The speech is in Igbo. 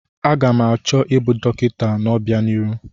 Aga m achọ ịbụ dọkịta n'obianihu.